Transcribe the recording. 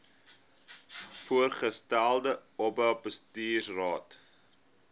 voorgestelde oba bestuursraad